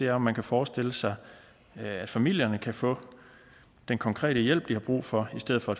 er om man kan forestille sig at familierne kan få den konkrete hjælp de har brug for i stedet for